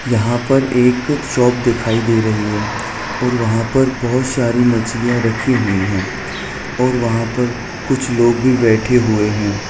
यहाँ पर एक शॉप दिखाई दे रही है और वहाँ पर बहुत सारी मछलियाँ रखी हुई है और वहाँ पर कुछ लोग भी बैठे हुए हैं।